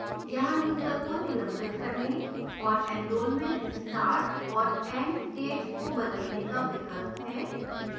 यहाँ यूजर को निलंबित करने और enrolment start और end dates को बदलने का विकल्प है